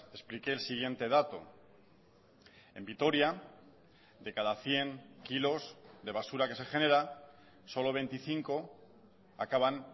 expliqué el siguiente dato en vitoria de cada cien kilos de basura que se genera solo veinticinco acaban